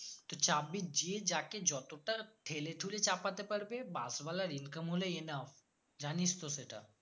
তুই চাপবি যে যাকে যতটা ঠেলেঠুলে চাপাতে পারবে bus ওয়ালার income হলেই enough জানিস তো সেটা